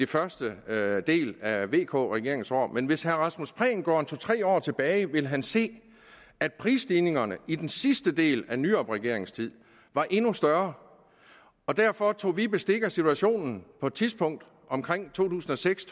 første del af vk regeringens regeringsår men hvis herre rasmus prehn går to tre år tilbage vil han se at prisstigningerne i den sidste del af nyrupregeringens tid var endnu større derfor tog vi bestik af situationen på et tidspunkt omkring to tusind og seks